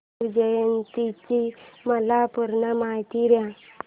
शिवजयंती ची मला पूर्ण माहिती दे